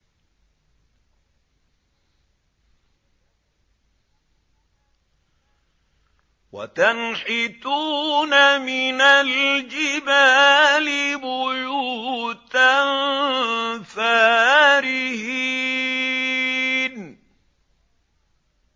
وَتَنْحِتُونَ مِنَ الْجِبَالِ بُيُوتًا فَارِهِينَ